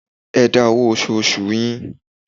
Ẹ dá owó oṣòòṣù yín.